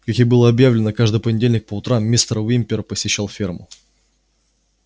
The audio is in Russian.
как и было объявлено каждый понедельник по утрам мистер уимпер посещал ферму